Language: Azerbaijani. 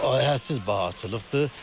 Hədsiz bahatçılıqdır.